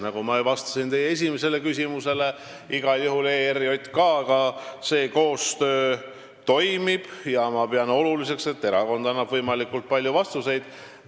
Nagu ma vastasin teie esimesele küsimusele, igal juhul koostöö ERJK-ga toimib ja ma pean oluliseks, et erakond annab võimalikult palju vastuseid.